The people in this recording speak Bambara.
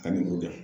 Ani o kɛ